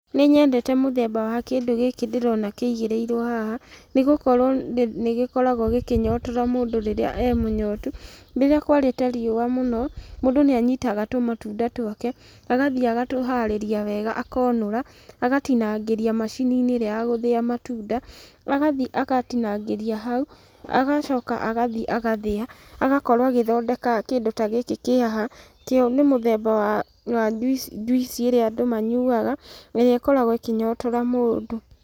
Nĩnyendete mũthemba wa kĩndũ gĩkĩ ndĩrona kĩigĩrĩirwo haha, nĩgũkorwo nĩgĩkoragwo gĩkĩnyotora mũndũ rĩrĩa e mũnyotu. Rĩrĩa kwarĩte riũa mũno, mũndũ nĩanyitaga tũmatunda twake, agathiĩ agatũharĩria wega akonũra, agatinangĩria macini-inĩ ĩrĩa ya gũthĩa matunda, agathiĩ akatinangĩria hau, agacoka agathiĩ agathĩa, agakorwo agĩthondeka kĩndũ ta gĩkĩ kĩ haha, kĩo nĩ mũthemba wa njuici ĩrĩa andũ manyuaga, ĩrĩa ĩkoragwo ĩkĩnyotora mũndũ